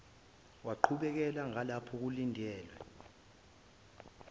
waqhubekela ngalapho kulindelwa